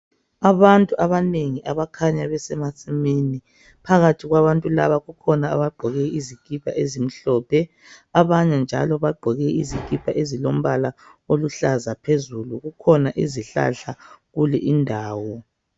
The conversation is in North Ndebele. Abantu abanengi abakhanya besemasimini, phakathi kwabantu laba kukhona abagqoke izikipa ezimhlophe abanye njalo bagqoke izikipa ezilombala oluhlaza phezulu. Kukhona izihlahla kule indawo.